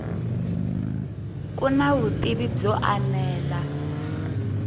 ku na vutivi byo enela